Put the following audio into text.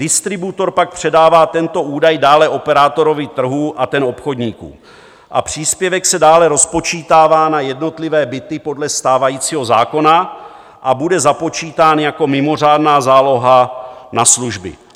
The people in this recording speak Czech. Distributor pak předává tento údaj dále operátorovi trhu a ten obchodníkům a příspěvek se dále rozpočítává na jednotlivé byty podle stávajícího zákona a bude započítán jako mimořádná záloha na služby.